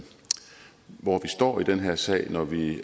står i den her sag når vi